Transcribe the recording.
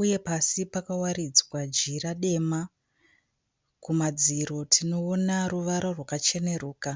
uye pasi pakawaridzwa jira dema. Kumadziro tinoona ruvara rwakacheneruka.